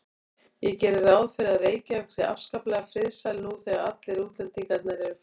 Ég geri ráð fyrir að Reykjavík sé afskaplega friðsæl nú þegar allir útlendingar eru farnir.